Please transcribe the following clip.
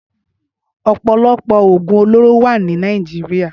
Ọpọlọpọ ógún ólóró wà ni Nàijiriá